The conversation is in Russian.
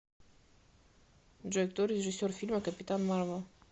джой кто режиссер фильма капитан марвел